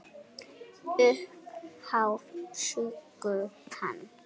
Upphaf sögu hans.